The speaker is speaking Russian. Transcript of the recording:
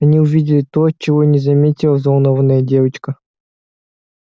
они увидели то чего не заметила взволнованная девочка